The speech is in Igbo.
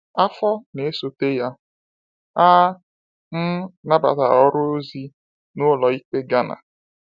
Afọ na esote ya, a um nabatara ọrụ ozi n’ụlọikpe Ghana.